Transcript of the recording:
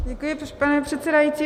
Děkuji, pane předsedající.